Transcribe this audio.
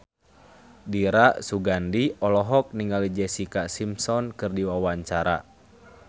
Dira Sugandi olohok ningali Jessica Simpson keur diwawancara